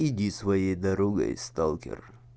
иди своей дорогой сталкер